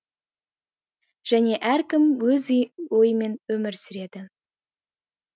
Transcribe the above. және әркім өз ойымен өмір сүреді